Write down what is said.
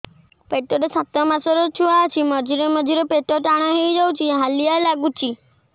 ପେଟ ରେ ସାତମାସର ଛୁଆ ଅଛି ମଝିରେ ମଝିରେ ପେଟ ଟାଣ ହେଇଯାଉଚି ହାଲିଆ ଲାଗୁଚି